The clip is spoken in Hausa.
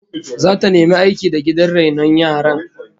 Zata nemi aiki da gidan rainon yaran